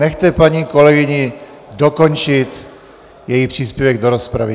Nechte paní kolegyni dokončit její příspěvek do rozpravy!